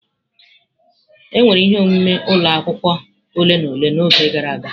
Enwere ihe omume ụlọ akwụkwọ ole na ole n'oge gara aga.